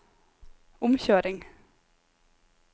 omkjøring